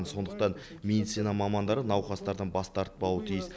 сондықтан медицина мамандары науқастардан бас тартпауы тиіс